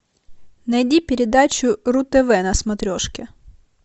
найди передачу ру тв на смотрешке